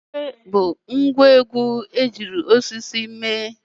Ekwe bụ ngwa osisi nwere oghere